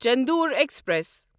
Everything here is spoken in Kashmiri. چندور ایکسپریس